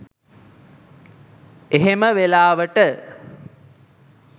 එහෙම වෙලාවට